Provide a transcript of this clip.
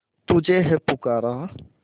तुझे है पुकारा